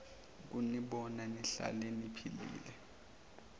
ukunibona nihlale niphilile